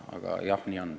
Aga jah, nii on.